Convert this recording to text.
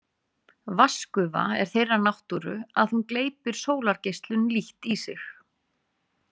Vatnsgufa er þeirrar náttúru að hún gleypir sólargeislun lítt í sig.